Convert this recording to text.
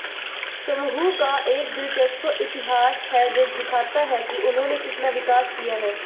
समूह का एक दिलचस्प इतिहास है जो दिखाता है कि उन्होंने कितना विकास किया है